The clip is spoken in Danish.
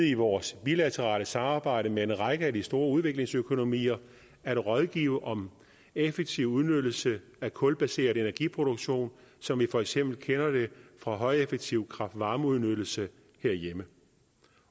i vores bilaterale samarbejde med en række af de store udviklingsøkonomier at rådgive om effektiv udnyttelse af kulbaseret energiproduktion som vi for eksempel kender det fra højeffektiv kraft varme udnyttelse herhjemme